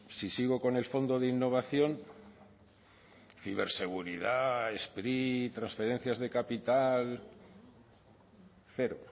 si sigo con el fondo de innovación ciberseguridad spri transferencias de capital cero